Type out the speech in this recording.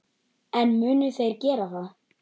En munu þeir gera það?